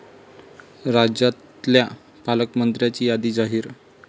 राज्यातल्या पालकमंत्र्यांची यादी जाहीर